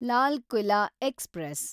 Lal Qila express